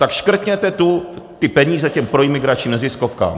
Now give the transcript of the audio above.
Tak škrtněte ty peníze těm proimigračním neziskovkám.